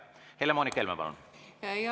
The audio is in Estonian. Helle‑Moonika Helme, palun!